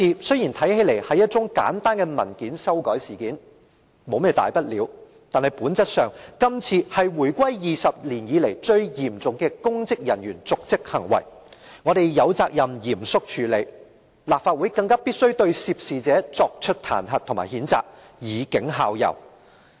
雖然看來這是一宗簡單的文件修改事件，沒有甚麼大不了，但本質上，今次是回歸20年以來最嚴重的公職人員瀆職行為，我們有責任嚴謹處理，立法會更必須對涉事者作出彈劾和譴責，以儆效尤。